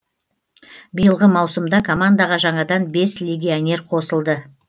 биылғы маусымда командаға жаңадан бес легионер қосылды